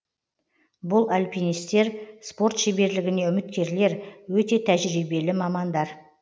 бұл альпинистер спорт шеберлігіне үміткерлер өте тәжірибелі мамандар